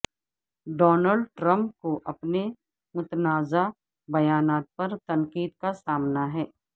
Donald Trump کو اپنے متنازع بیانات پر تنقید کا سامنا ہے